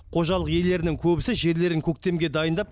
қожалық иелерінің көбісі жерлерін көктемге дайындап